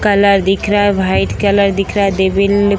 Colour दिख रहा है वाइट कलर दिख रहा है। --